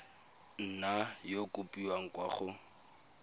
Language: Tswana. nna ya kopiwa kwa go